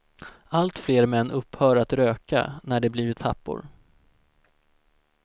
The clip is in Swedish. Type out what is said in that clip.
Allt fler män upphör att röka när de blivit pappor.